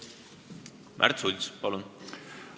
Märt Sults, palun!